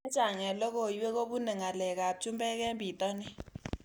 Chechang' eng' lokoiwek ko pune ng'alek ab chumbek eng' pitonin